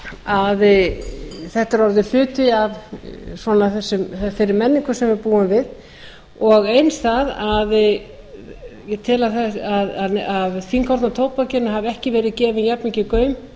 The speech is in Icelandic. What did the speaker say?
að þetta er orðinn hluti af þessari menningu sem við búum við og eins það að ég tel að fínkorna tóbakinu hafi ekki verið gefinn jafnmikill